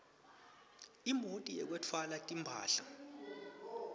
imoti yekwetfwala timphahla